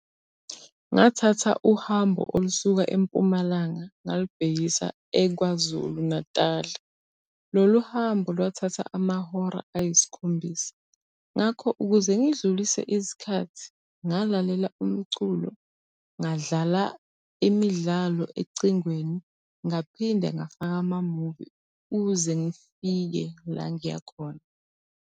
Ngathatha uhambo olusuka eMpumalanga ngalibhekisa eKwaZulu Natal. Lolu hambo lwathatha amahora ayisikhombisa. Ngakho, ukuze ngidlulise isikhathi, ngalalela umculo, ngadlala imidlalo ecingweni, ngaphinde ngafaka amamuvi ukuze ngifike la ngiya khona.